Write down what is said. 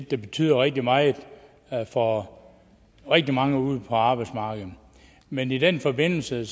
der betyder rigtig meget for rigtig mange ude på arbejdsmarkedet men i den forbindelse